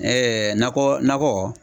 nakɔ nakɔ